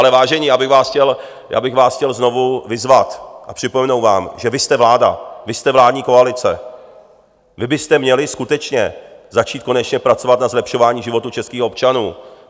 Ale vážení, já bych vás chtěl znovu vyzvat a připomenout vám, že vy jste vláda, vy jste vládní koalice, vy byste měli skutečně začít konečně pracovat na zlepšování životů českých občanů.